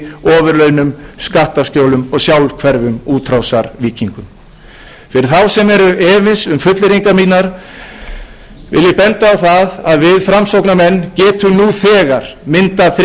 ofurlaunum skattaskjólum og sjálfhverfum útrásarvíkingum fyrir þá sem eru efins um fullyrðingar mínar vil ég benda á það að við framsóknarmenn getum nú þegar myndað þriggja